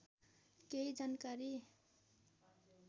केही जानकारी